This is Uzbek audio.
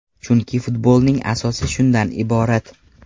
Chunki futbolning asosi shundan iborat.